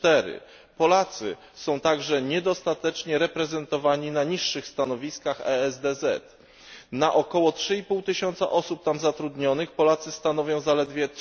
4. Polacy są także niedostatecznie reprezentowani na niższych stanowiskach ESDZ. Na około 3,5 tysiąca osób tam zatrudnionych Polacy stanowią zaledwie